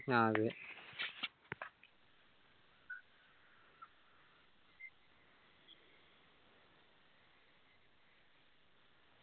ആ അതെ